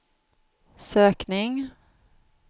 sökning